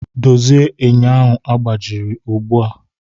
Dozie enyo ahụ agbajiri ugbu a!